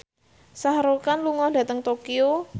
Shah Rukh Khan lunga dhateng Tokyo